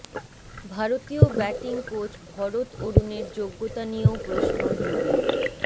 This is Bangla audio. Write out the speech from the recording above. ভারতীয় ব্যাটিং কোচ ভরত অরুনের যোগ্যতা নিয়েও প্রশ্ন যুবির